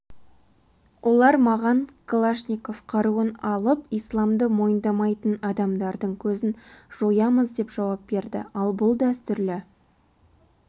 олар маған калашников қаруын алып исламды мойындамайтын адамдардың көзін жоямыз деп жауап берді ал бұл дәстүрлі